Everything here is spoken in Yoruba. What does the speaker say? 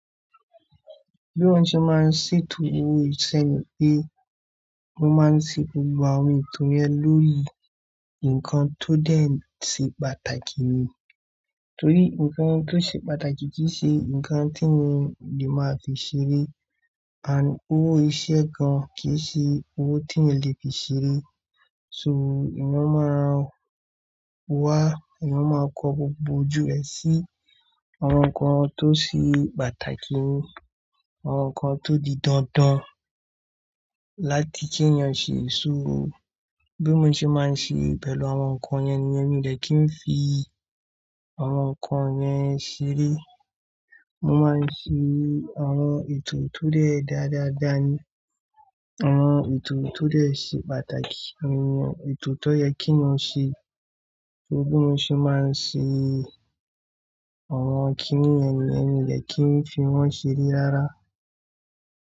Bí mo ṣe máa ń ṣètò owó ìṣe ni pé mo máa ń se gbogbo àwọn ètò yen lórí nǹkan tó dẹ̀ ti pàtàkì ni. Torí nǹkan tó ṣe pàtàkì kì í ṣe nǹkan tí mo lè máa fi ṣeré. Òwò iṣẹ́ gan kì ṣe owó tí eeyan lè fi ṣeré. So eeyan máa wá, eeyan máa kọ gbogbo ojú ẹ sí àwọn nǹkan tó ṣe pàtàkì ni, àwọn nǹkan tó di dandan láti kí ènìyàn ṣe sùúrù. Bí mo ṣe máa ń ṣe pẹ̀lú àwọn nǹkan yẹn ni yen mi dè kí n fi àwọn nǹkan yẹn ṣeré. Mo máa ń ṣe àwọn ètò tó dẹ̀ da dáadáa ni, àwọn ètò tó dẹ̀ ṣe pàtàkì. Etò tó yẹ kí eeyan ṣe ni bí mo ṣe máa ń ṣe àwọn kíní yen niyen, mi de kí n fi wọ́n ṣeré rárá.